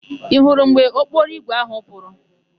Ị hụrụ mgbe ụgbọokporoigwe áhụ̀ pụrụ?